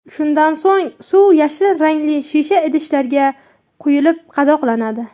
Shundan so‘ng suv yashil rangli shisha idishlarga quyilib qadoqlanadi.